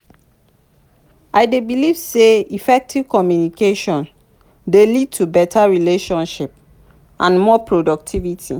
i dey believe say effective communication dey lead to beta relationships and more productivity.